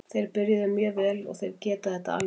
Þeir byrjuðu mjög vel og þeir geta þetta alveg.